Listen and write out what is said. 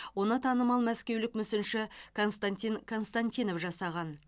оны танымал мәскеулік мүсінші константин константинов жасаған